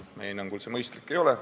Meie hinnangul see mõistlik ei ole.